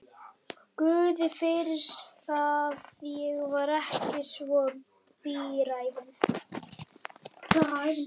Guði fyrir það, ég var ekki svo bíræfin.